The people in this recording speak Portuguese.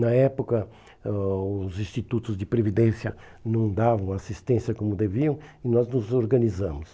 Na época, eh os institutos de previdência não davam assistência como deviam e nós nos organizamos.